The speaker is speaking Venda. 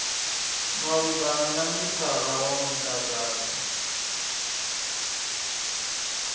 malugana na mithara wa mudagasi